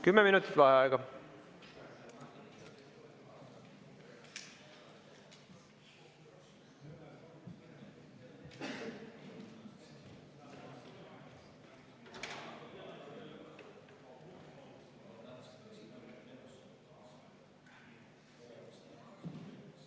Kümme minutit vaheaega.